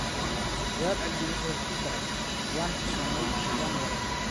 Guhad Cabdi wuxuu ku daray: "Waan xishoodnay, waan wareernay.